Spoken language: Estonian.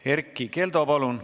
Erkki Keldo, palun!